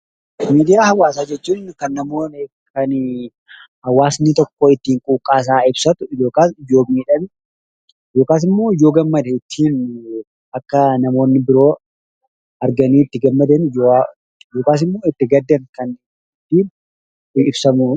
Miidiyaa hawaasaa jechuun kan namoonni kan hawaasni tokko ittiin quuqqaasaa ibsatu yookaan yoo miidhame yookasimmoo yoo gammade ittin akka namoonni biroo arganii itti gammadan yookaasimmoo akka itti gaddan kan itti ibsamudha.